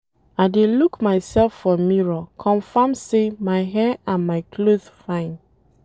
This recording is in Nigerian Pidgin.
I dey look mysef for mirror confirm sey my hair and my cloth fine.